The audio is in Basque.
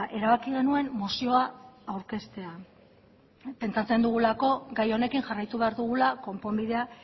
erabaki genuen mozioa aurkeztea pentsatzen dugulako gai honekin jarraitu behar dugula konponbidea